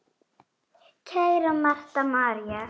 Kæra Marta María.